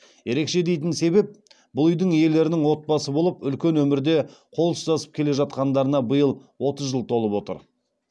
ерекше дейтін себеп бұл үйдің иелерінің отбасы болып үлкен өмірде қол ұстасып келе жатқандарына биыл отыз жыл толып отыр